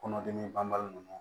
Kɔnɔdimi banbali nunnu